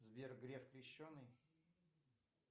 сбер греф крещенный